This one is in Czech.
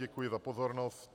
Děkuji za pozornost.